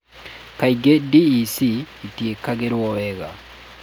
Kaingĩ DEC ĩtĩkagĩrũo wega.